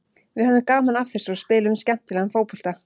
Við höfðum gaman af þessu og spiluðum skemmtilegan fótbolta.